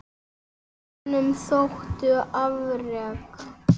Honum þóttu afrek